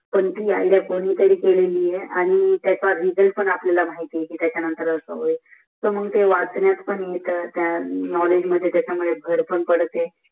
पण ती ज्इयाच्डियामुळे भर पण पद्याडते कोणीतरी केली आहे आणि त्याचा रीजाल्त पण अप्याल्काल माहित आहे त्याच्या नंतर अस हो मग तो वाचण्यात पण येत त्या नोकेज मध्ये त्या मुले बाहेर पणन पाते